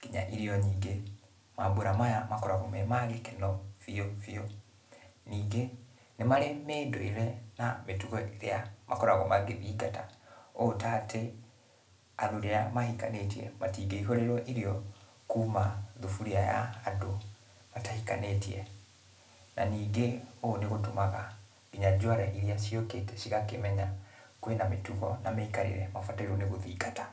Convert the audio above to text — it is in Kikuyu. kinya irio nyingĩ. Mambũra maya makoragũo me magĩkeno biũ biũ. Ningĩ, nĩ marĩ mĩndũire na mĩtugo ĩrĩa makoragũo magĩthingata. Ũu tatĩ, athuri arĩa mahikanĩtie matingĩihũrĩrũo irio kuma thaburia ya andũ matahikanĩtie. Na ningĩ ũũ nĩgũtũmaga kinya jũara iria ciũkĩte cigakĩmenya, kwĩna mĩtugo, na mĩikarĩre mabatairwo nĩ gũthingata.